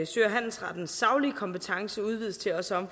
sø og handelsrettens saglige kompetence udvides til også